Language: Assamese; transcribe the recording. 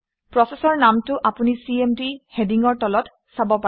প্ৰচেচৰ নামটো আপুনি চিএমডি হেডিঙৰ তলত চাব পাৰে